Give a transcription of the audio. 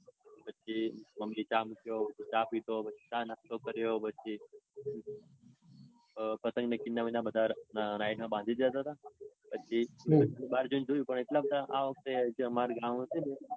પછી મમ્મી એ ચા મુક્યો. ચા નાસ્તો કર્યો પછી પતંગ ને કિન્ના બિનના નાઈટમાં વધારે બાંધી દીધા. પછી બાર જઈને જોયું પણ એટલા બધા આ વખતે અમર જે ગામ હતું ને